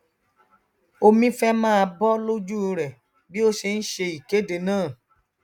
omi fẹ máa bọ lójú rẹ bí ó ṣe nṣe ìkéde náà